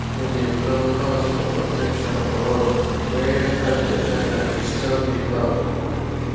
we de block holes for protection for wall wey cats de hid and disturb de fowl.